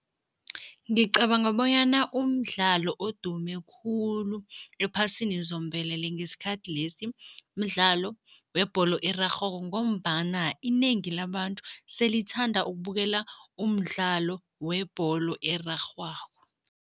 Ngicabanga bonyana umdlalo odume khulu ephasini zombelele ngesikhathi lesi, mdlalo webholo erarhwako ngombana inengi labantu selithanda ukubukela umdlalo webholo erarhwako.